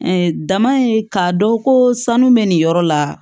dama in k'a dɔn ko sanu bɛ nin yɔrɔ la